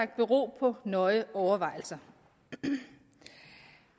bero på nøje overvejelser